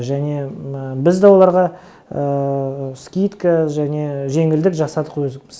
және біз де оларға скидка және жеңілдік жасадық өзіміз